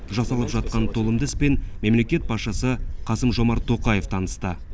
жасалып жатқан толымды іспен мемлекет басшысы қасым жомарт тоқаев танысты